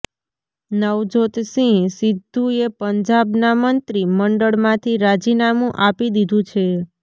નવજોતસિંહ સિદ્ધુએ પંજાબના મંત્રી મંડળમાથી રાજીનામુ આપી દીધુ છે